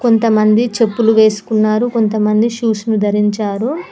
కొంతమంది చెప్పులు వేసుకున్నారు కొంతమంది షూస్ ను ధరించారు.